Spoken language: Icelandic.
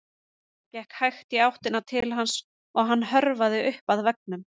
Ég gekk hægt í áttina til hans og hann hörfaði upp að veggnum.